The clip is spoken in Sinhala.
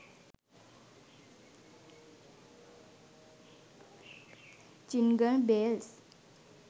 jingle bells